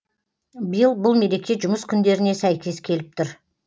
биыл бұл мереке жұмыс күндеріне сәйкес келіп тұр